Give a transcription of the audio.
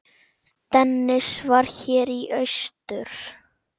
Dennis var hér í austur.